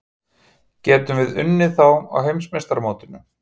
Getum við unnið þá á Heimsmeistaramótinu?